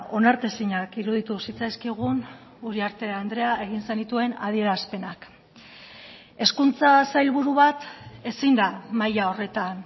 onartezinak iruditu zitzaizkigun uriarte andrea egin zenituen adierazpenak hezkuntza sailburu bat ezin da maila horretan